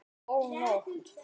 Ó, nótt!